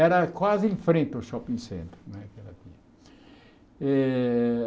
Era quase em frente ao shopping center né eh.